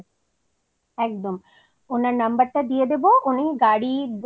একদম ওনার number টা দিয়ে দেব উনি গাড়ি হোটেল